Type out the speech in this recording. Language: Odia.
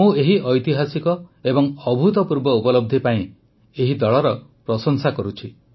ମୁଁ ଏହି ଐତିହାସିକ ଏବଂ ଅଭୂତପୂର୍ବ ଉପଲବ୍ଧି ପାଇଁ ଏହି ଦଳର ପ୍ରଶଂସା କରୁଛି